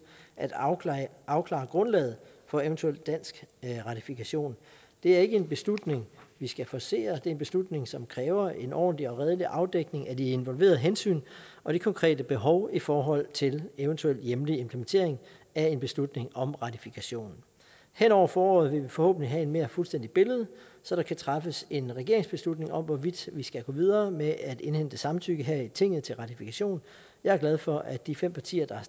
at afklare afklare grundlaget for eventuel dansk ratifikation det er ikke en beslutning vi skal forcere det er en beslutning som kræver en ordentlig og redelig afdækning af de involverede hensyn og de konkrete behov i forhold til eventuel hjemlig implementering af en beslutning om ratifikation hen over foråret vil vi forhåbentlig have et mere fuldstændigt billede så der kan træffes en regeringsbeslutning om hvorvidt vi skal gå videre med at indhente samtykke her i tinget til ratifikation jeg er glad for at de fem partier der har